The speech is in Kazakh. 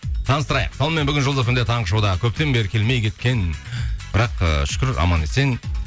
таныстырайық сонымен бүгін жұлдыз фм де таңғы шоуда көптен бері келмей кеткен бірақ ыыы шүкір аман есен